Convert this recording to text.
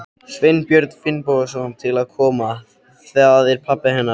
Sveinbjörn Finnbogason til að koma. það er pabbi hennar.